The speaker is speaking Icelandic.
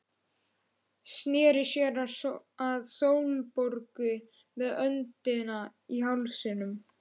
Sneri sér að Sólborgu með öndina í hálsinum.